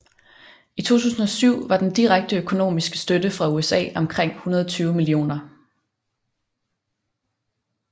I 2007 var den direkte økonomiske støtte fra USA omkring 120 mio